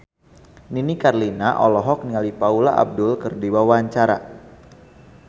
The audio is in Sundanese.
Nini Carlina olohok ningali Paula Abdul keur diwawancara